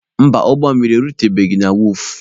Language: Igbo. Mba, ụgbọ mmiri erutebeghi na wọọfụ.